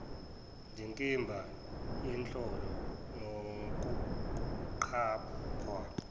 ndikimba yenhlolo nokuqaphwa